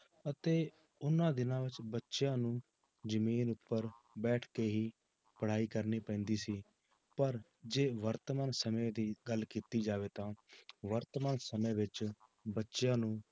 ਅਤੇ ਉਹਨਾਂ ਦਿਨਾਂ ਵਿੱਚ ਬੱਚਿਆਂ ਨੂੰ ਜ਼ਮੀਨ ਉੱਪਰ ਬੈਠ ਕੇ ਹੀ ਪੜ੍ਹਾਈ ਕਰਨੀ ਪੈਂਦੀ ਸੀ ਪਰ ਜੇ ਵਰਤਮਾਨ ਸਮੇਂ ਦੀ ਗੱਲ ਕੀਤੀ ਜਾਵੇ ਤਾਂ ਵਰਤਮਾਨ ਸਮੇਂ ਵਿੱਚ ਬੱਚਿਆਂ ਨੂੰ